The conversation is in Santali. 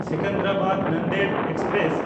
ᱥᱮᱠᱮᱱᱫᱨᱟᱵᱟᱫ–ᱱᱟᱱᱫᱮᱲ ᱮᱠᱥᱯᱨᱮᱥ